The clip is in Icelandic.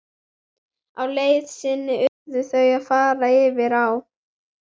Á leið sinni urðu þau að fara yfir á.